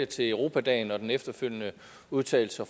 til europadagen og den efterfølgende udtalelse